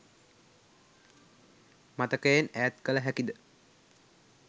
මතකයෙන් ඈත් කළ හැකිද?